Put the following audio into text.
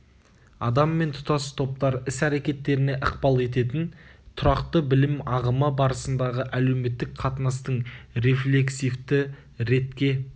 адам мен тұтас топтар іс-әрекеттеріне ықпал ететін тұрақты білім ағымы барысындағы әлеуметтік қатынастың рефлексивті ретке